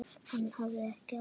Hann hafði ekki áhuga.